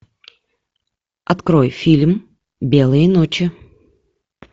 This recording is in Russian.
открой фильм белые ночи